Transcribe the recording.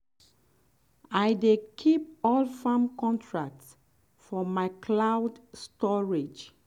um i dey keep um all farm contracts for my cloud storage.